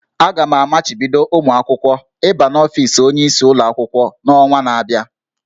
A ga-amachibido ụmụ akwụkwọ ịba n'ofis onyeisi ụlọ akwụkwọ n'ọnwa na-abịa